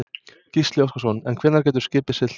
Gísli Óskarsson: En hvenær getur skipið siglt?